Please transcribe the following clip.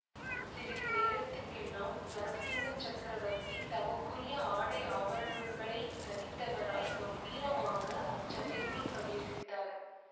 சிறிது நேரத்துக்கெல்லாம் நரசிம்மச் சக்கரவர்த்தி தமக்குரிய ஆடை ஆபரணங்களைத் தரித்தவராய்க் கம்பீரமாக அச்சபைக்குள் பிரவேசித்தார்